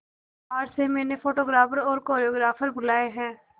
बाहर से मैंने फोटोग्राफर और कोरियोग्राफर बुलाये है